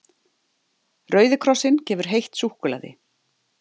Rauði krossinn gefur heitt súkkulaði